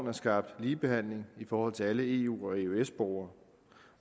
er skabt ligebehandling i forhold til alle eu og eøs borgere